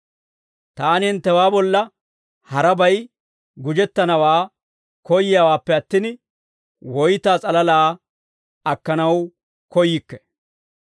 Taani hinttewaa bolla harabay gujettanawaa koyyiyaawaappe attin, woytaa s'alalaa akkanaw koyyikke.